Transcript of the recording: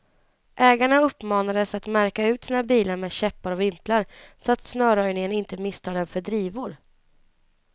Ägarna uppmanades att märka ut sina bilar med käppar och vimplar, så att snöröjningen inte misstar dem för drivor.